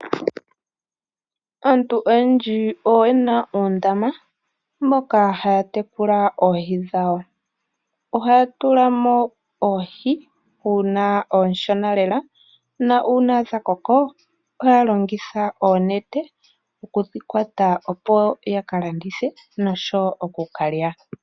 Auntu oyendji oye na oondama, moka haya tekula oohi dhawo. Ohaya tula mo oohi uuna oonshona lela, nuuna dha koko ohaya longitha oonete okudhi kwata, opo ya ka landithe noshowo oku ka lya.